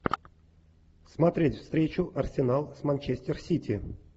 смотреть встречу арсенал с манчестер сити